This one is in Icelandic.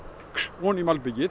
ofan í malbikið